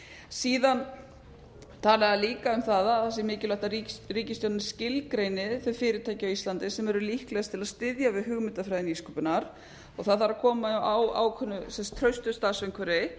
síðan tala þeir líka um það að það sé mikilvægt að ríkisstjórnin skilgreini þau fyrirtæki á íslandi sem eru líkleg til að styðja við hugmyndafræði nýsköpunar það þarf að koma á ákveðnu traustu starfsumhverfi